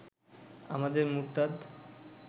আমাদের মুরতাদ